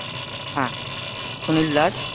হ্যাঁ, সুনীল দাস।